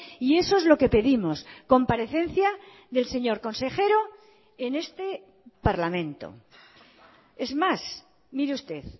y eso es lo que pedimos comparecencia del señor consejero en este parlamento es más mire usted